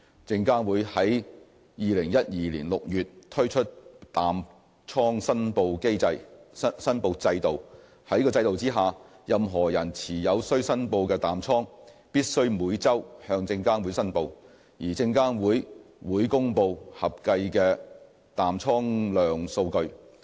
證監會於2012年6月推出淡倉申報制度。在該制度下，任何人持有須申報的淡倉必須每周向證監會申報，而證監會會公布合計的淡倉量數據。